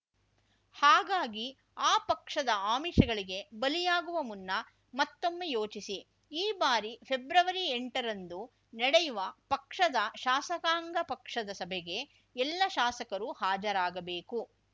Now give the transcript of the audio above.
ಹಾಗಾಗಿ ಆ ಪಕ್ಷದ ಆಮಿಷಗಳಿಗೆ ಬಲಿಯಾಗುವ ಮುನ್ನ ಮತ್ತೊಮ್ಮೆ ಯೋಚಿಸಿ ಈ ಬಾರಿ ಫೆಬ್ರವರಿಎಂಟರಂದು ನಡೆಯುವ ಪಕ್ಷದ ಶಾಸಕಾಂಗ ಪಕ್ಷದ ಸಭೆಗೆ ಎಲ್ಲಾ ಶಾಸಕರೂ ಹಾಜರಾಗಬೇಕು